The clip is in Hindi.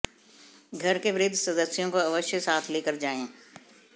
घर के वृद्ध सदस्यों को अवश्य साथ लेकर जायें